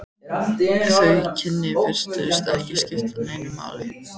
Þau kynni virtust ekki skipta neinu máli.